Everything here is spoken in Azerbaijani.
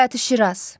Bayatı Şiraz.